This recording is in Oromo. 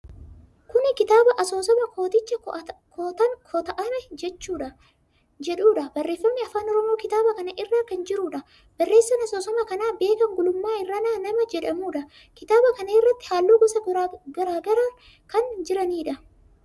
Kuni kitaaba asoosamaa kooticha kota'ame jedhuudha. Barreeffamni afaan Oromoo kitaaba kana irra kan jiruudha. Barreessan asoosama kanaa Beekan Gulummaa Irranaa nama jedhamuudha. Kitaaba kana irratti haalluu gosa garagaraa kan jiraniidha.